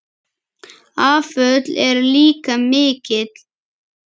Afföll eru líka mikil.